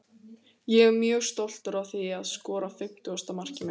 Tengdar við fyrri lið orðsins eru tvær hugmyndir, sem báðar hafa komið fram í vísindunum.